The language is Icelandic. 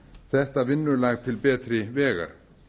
þetta vinnulag til betri vegar